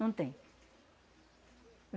Não tem.